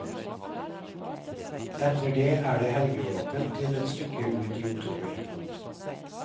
Etter det er det helgeåpent til et stykke ut i oktober.